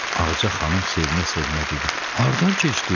Ağca xanım sevinə-sevinə dedi: Haradan keçdin?